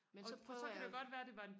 men så prøver jeg